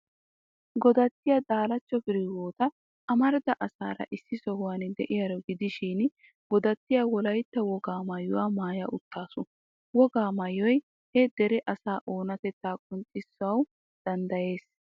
Godattiyaa Daalachcho Firehiwoota amarida asaara issi sohuwan de'iyaaro gidishin, Godattiyaa Wolaytta wogaa maayuwaa maaya uttaasu. Wogaa maayoy he dere asaa oonatettaa qonccissanawu danddayees.